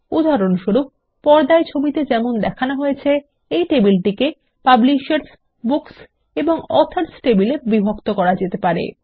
উদাহরণস্বরূপ পর্দায় ছবিতে যেমন দেখানো হয়েছে এই টেবিলটিকে পাবলিশার্স বুকস এবং অথর্স টেবিলে বিভক্ত করা যেতে পারে